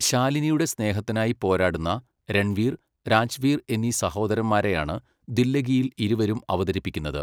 ശാലിനിയുടെ സ്നേഹത്തിനായി പോരാടുന്ന രൺവീർ, രാജ്വീർ എന്നീ സഹോദരന്മാരെയാണ് 'ദില്ലഗി'യിൽ ഇരുവരും അവതരിപ്പിക്കുന്നത്.